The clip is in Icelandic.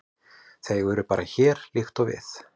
Þau eru bara hér, líkt og við.